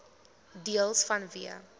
deels vanweë